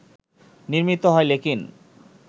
নির্মিত হয় ‘লেকিন’